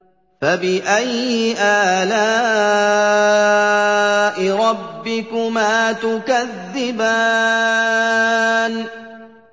فَبِأَيِّ آلَاءِ رَبِّكُمَا تُكَذِّبَانِ